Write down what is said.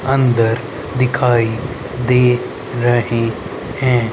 अंदर दिखाई दे रहे हैं।